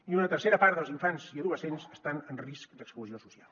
i una tercera part dels infants i adolescents estan en risc d’exclusió social